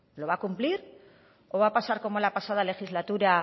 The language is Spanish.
lo va a cumplir o va a pasar como la pasada legislatura